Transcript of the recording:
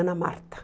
Ana Marta.